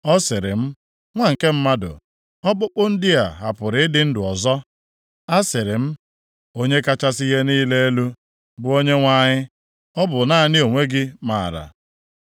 Ọ sịrị m, “Nwa nke mmadụ, ọkpụkpụ ndị a ha pụrụ ịdị ndị ọzọ?” Asịrị m, “Onye kachasị ihe niile elu, bụ Onyenwe anyị ọ bụ naanị gị onwe gị maara.”